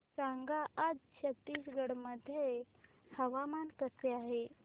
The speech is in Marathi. सांगा आज छत्तीसगड मध्ये हवामान कसे आहे